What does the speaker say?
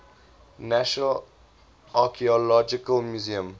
national archaeological museum